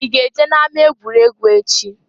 I ga-eje na-ama-egwuregwu echi?